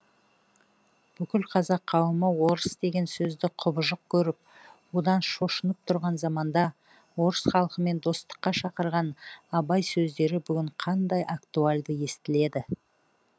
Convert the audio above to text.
бүкіл қазақ қауымы орыс деген сөзді кұбыжық көріп одан шошынып тұрған заманда орыс халкымен достыққа шақырған абай сөздері бүгін қандай актуальды естіледі